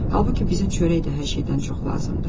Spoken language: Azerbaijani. Halbuki bizə çörək də hər şeydən çox lazımdır.